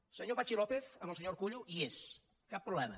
el senyor patxi lópez amb el senyor urkullu hi és cap problema